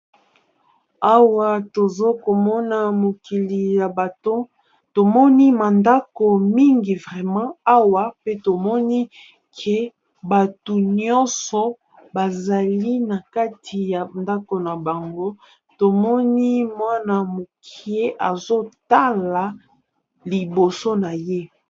Awa tozokomona mokili ya bato tomoni mandako mingi, vrema awa pe tomoni ke bato nyonso bazali na kati ya ndako na bango tomoni mwana-mokie azotala liboso na ye.